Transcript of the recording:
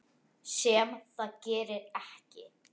Sem það gerir ekki.